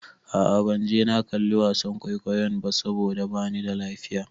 A'a ban je na kalli wasan kwaikwayon ba saboda bani da lafiya.